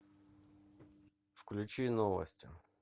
включи новости